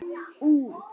Þessa þarftu við.